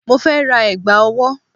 Mo fẹ́ ra ẹ̀gbà owó